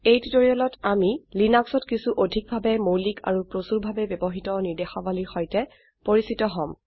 এই টিউটোৰিয়েলত আমি লিনাক্সত কিছু অধিক ভাবে মৌলিক আৰু প্ৰচুৰভাবে ব্যবহৃত ৰ্নিদেশাবলীৰ সৈতে পৰিচিত হম